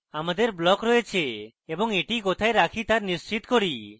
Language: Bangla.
আমাদের block রয়েছে এবং এখন এটি কোথায় রাখি তা নিশ্চিত করি